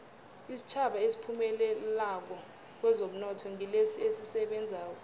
isitjhaba esiphumelelako kwezomnotho ngilesi esisebenzako